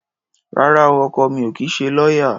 Rárá o, ọkọ mi ò kì í ṣe lọ́yá.